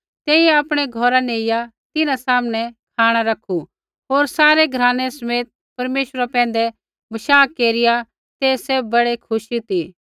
तेइयै आपणै घौरा नेइया तिन्हां सामनै खाँणा रैखू होर सारै घरानै समेत परमेश्वरा पैंधै विश्वास केरिया तै सैभ बड़ै खुशी ती